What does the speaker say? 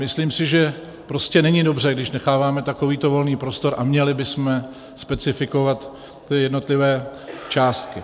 Myslím si, že prostě není dobře, když necháváme takovýto volný prostor, a měli bychom specifikovat ty jednotlivé částky.